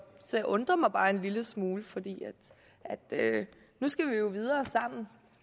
jeg undrer mig bare en lille smule for nu skal vi jo videre sammen